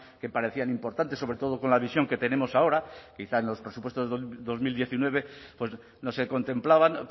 que parecían importantes sobre todo con la visión que tenemos ahora quizá en los presupuestos dos mil diecinueve no se contemplaban